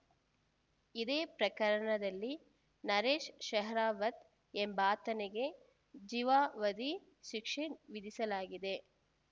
ಇದೇ ಪ್ರಕರಣದಲ್ಲಿ ನರೇಶ್‌ ಶೆಹ್ರಾವತ್‌ ಎಂಬಾತನಿಗೆ ಜೀವಾವಧಿ ಶಿಕ್ಷೆ ವಿಧಿಸಲಾಗಿದೆ